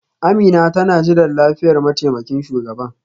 Amina tana jiran liyafar mataimakin shugaban.